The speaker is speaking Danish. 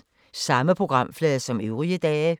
Samme programflade som øvrige dage